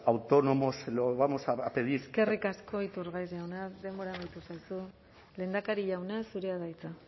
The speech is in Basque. autónomos se lo vamos a pedir eskerrik asko iturgaiz jauna denbora amaitu zaizu lehendakarik jauna zurea da hitza